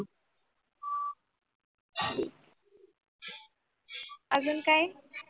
अजून काही?